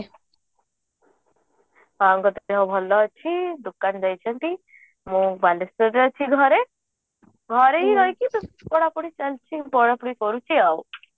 ବାପାଙ୍କ ଦେହ ଭଲ ଅଛି ଦୋକାନ ଯାଇଛନ୍ତି ମୁଁ ବାଲେଶ୍ବରରେ ଅଛି ଘରେ ହିଁ ରହିକି ପଢାପଢି କରୁଛି ଆଉ